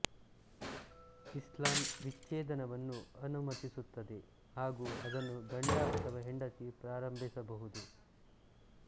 ಇಸ್ಲಾಮ್ ವಿಚ್ಛೇದನವನ್ನು ಅನುಮತಿಸುತ್ತದೆ ಹಾಗೂ ಅದನ್ನು ಗಂಡ ಅಥವಾ ಹೆಂಡತಿ ಪ್ರಾರಂಭಿಸಬಹುದು